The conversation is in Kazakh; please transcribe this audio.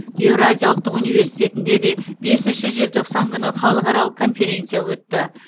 еуразия ұлттық университетінде де бесінші желтоқсан күні халықаралық конференция өтті